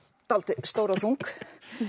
dálítið stór og þung